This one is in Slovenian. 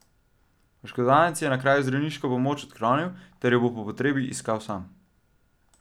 Oškodovanec je na kraju zdravniško pomoč odklonil ter jo bo po potrebi iskal sam.